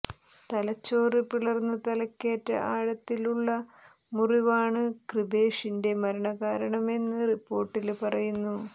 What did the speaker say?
തലച്ചോറ് പിളര്ന്ന് തലക്കേറ്റ ആഴത്തിലുള്ള മുറിവാണ് കൃപേഷിന്റെ മരണ കാരണമെന്ന് റിപ്പോര്ട്ടില് പറയുന്നു